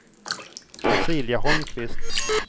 Cecilia Holmqvist